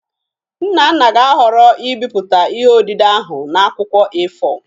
Nnanna ga-ahọrọ ibipụta ihe odide ahụ na akwụkwọ A4